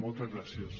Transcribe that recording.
moltes gràcies